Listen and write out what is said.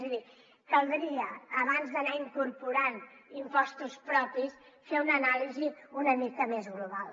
és a dir caldria abans d’anar incorporant impostos propis fer una anàlisi una mica més global